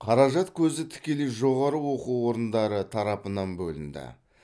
қаражат көзі тікелей жоғары оқу орындары тарапынан бөлінді